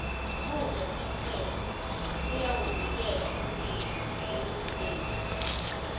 kudla titselo kuyawuvikela umtimba ekuguleni